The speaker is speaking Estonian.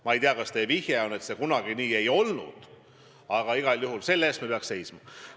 Ma ei tea, kas te tahtsite viidata, et kunagi see nii ei olnud, aga igal juhul selle eest me peaks seisma.